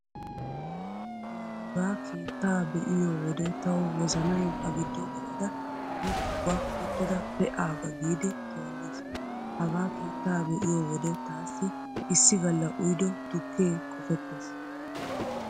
La hagaa keettaa be'iyo wode tawu wozanay a giddo gelada woppu ga uttada pee'aaga giidi toolliis. Hagaa keettaa be'iyo wode taassi issi galla uyido tukkee qopettees.